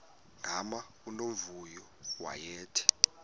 gama unomvuyo wayethe